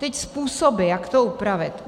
Teď způsoby, jak to upravit.